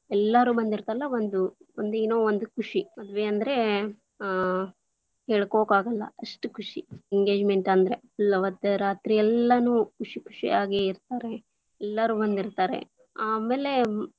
ಎಲ್ಲಾರೂ ಬಂದಿರ್ತಾರಲ್ಲ ಒಂದು ಒಂದು ಏನೋ ಒಂದು ಖುಷಿ, ಮದುವೆ ಅಂದ್ರೆ ಆ ಹೇಳ್ಕೊಳಕಾಗಲ್ಲ, ಅಷ್ಟು ಖುಷಿ engagement lang:Foreign ಅಂದ್ರೆ full lang:Foreign ಅವತ್ತು ರಾತ್ರಿ ಎಲ್ಲಾ ಎಲ್ಲಾನು ಖುಷಿ ಖುಷಿಯಾಗಿ ಇರ್ತಾರೆ ಎಲ್ಲಾರೂ ಬಂದಿರ್ತಾರೆ ಆಮೇಲೆ.